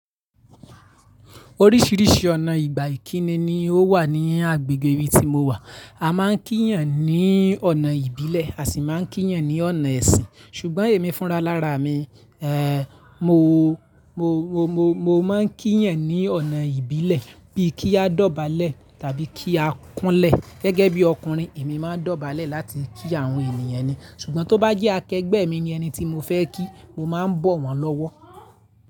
Orísìírísìí ọ̀nà ìgbà ìkíni ni ó wà ní agbègbè ibi tí mo wà. A máa ń kí ènìyàn ní ọ̀nà ìbílẹ̀, a sì máa ń kí ènìyàn ní ọ̀nà ẹ̀sìn. Ṣùgbọ́n èmi fúnra lára mi, ẹ́, mo, mo, mo, mo, mo máa ń kí ènìyàn ní ọ̀nà ìbílẹ̀ bíi kí a dobale tàbí kí a kunle. Gẹ́gẹ́ bí ọkùnrin, èmi máa ń dobale láti kí àwọn ènìyàn ni. Ṣùgbọ́n tó bá jẹ́ akẹgbẹ́ mi ni ẹni tí mo fẹ́ kí, mo máa ń bọ̀ wọ́n lọ́wọ́.